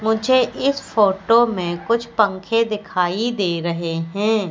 मुझे इस फोटो में कुछ पंखे दिखाई दे रहे हैं।